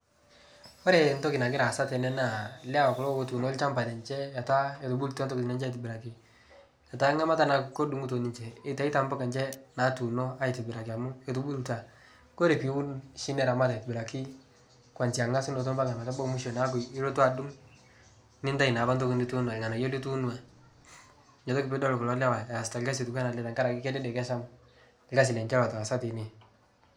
Ore entoki nagira aasa tene naa ilewa kulo ootuno olchamba lenje etaa etubulutua intokitin enye aitobiraki. Etaa ngamata edungito ninje embuka enje naatuuno aitobiraki amu etubulutua. Ore piiun oshi niramat aitibiraki tonjiangasunoto ometabaiki mwisho nilotu adunku, nintayu naapa ntoki niituuno ilnganayio nitunua. Inatoki naapidol kulo lewa easita olkasi kedede kesham olkasi lenje itaasa tine.